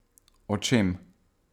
O čem?